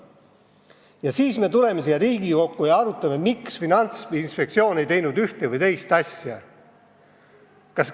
Ja siis me tuleme siia Riigikokku ja arutame, miks Finantsinspektsioon ei teinud ühte või teist asja.